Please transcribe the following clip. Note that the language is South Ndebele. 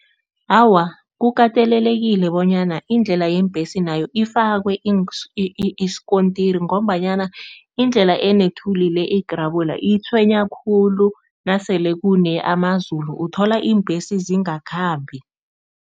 Awa, kukatelelekile bonyana indlela yeembhesi nayo ifakwe isikontiri ngombanyana indlela enethuli le, igrabula itshwenya khulu nasele kune amazulu uthola iimbhesi zingakhamba.